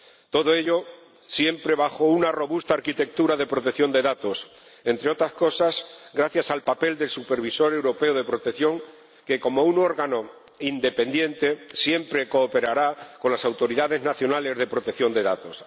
Todo ello siempre bajo una robusta arquitectura de protección de datos, entre otras cosas gracias al papel del Supervisor Europeo de Protección de Datos, que, como un órgano independiente, siempre cooperará con las autoridades nacionales de protección de datos.